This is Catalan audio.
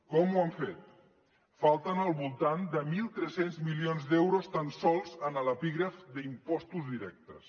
com ho han fet falten al voltant de mil tres cents milions d’euros tan sols en l’epígraf d’impostos directes